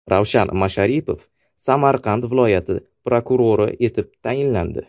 Ravshan Masharipov Samarqand viloyati prokurori etib tayinlandi.